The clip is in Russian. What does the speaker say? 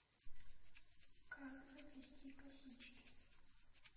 как заплести косички